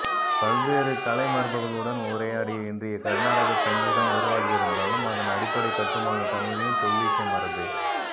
பல்வேறு கலைமரபுகளுடன் உரையாடி இன்றைய கர்நாடக சங்கீதம் உருவாகியிருந்தாலும் அதன் அடிப்படைக் கட்டுமானம் தமிழின் தொல்லிசை மரபே